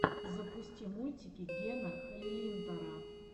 запусти мультики гена халилинтара